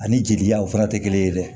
Ani jeli janw fana tɛ kelen ye dɛ